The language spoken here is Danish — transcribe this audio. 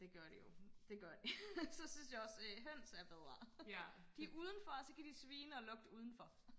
det gør de jo det gør de så synes jeg også øh høns er bedre de er udenfor og så kan de svine og lugte udenfor